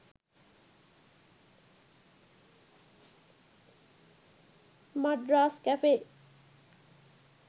madras cafe